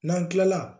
N'an kilala